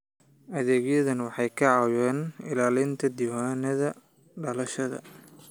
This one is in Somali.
Adeegyadani waxay ka caawiyaan ilaalinta diiwaannada dhalashada.